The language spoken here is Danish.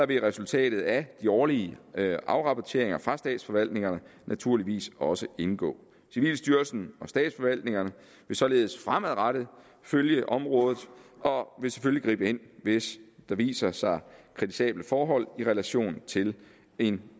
vil resultatet af de årlige afrapporteringer fra statsforvaltningerne naturligvis også indgå civilstyrelsen og statsforvaltningerne vil således fremadrettet følge området og vil selvfølgelig gribe ind hvis der viser sig kritisable forhold i relation til en